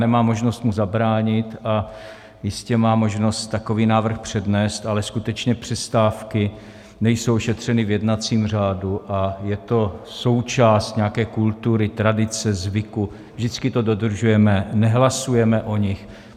Nemám možnost mu zabránit a jistě má možnost takový návrh přednést, ale skutečně přestávky nejsou ošetřeny v jednacím řádu a je to součást nějaké kultury, tradice, zvyku, vždycky to dodržujeme, nehlasujeme o nich.